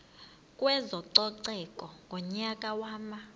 kwezococeko ngonyaka wama